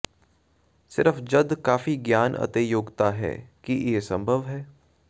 ਸਿਰਫ ਜਦ ਕਾਫ਼ੀ ਗਿਆਨ ਅਤੇ ਯੋਗਤਾ ਹੈ ਕਿ ਇਹ ਸੰਭਵ ਹੈ